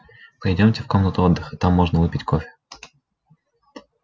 пойдёмте в комнату отдыха там можно выпить кофе